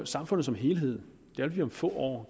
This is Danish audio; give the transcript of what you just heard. samfundet som helhed vil om få år